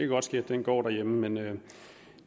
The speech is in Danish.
godt ske at den går derhjemme men lad